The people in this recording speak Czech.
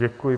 Děkuji.